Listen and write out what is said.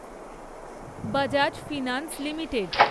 Bajaj finance limited